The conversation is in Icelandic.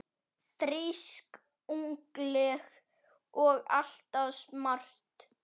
Frísk, ungleg og alltaf smart.